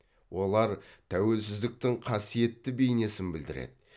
олар тәуелсіздіктің қасиетті бейнесін білдіреді